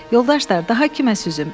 Yoldaşlar, daha kimə süzüm?